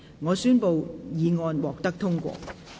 我宣布議案獲得通過。